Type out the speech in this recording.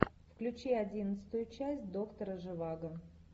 включи одиннадцатую часть доктора живаго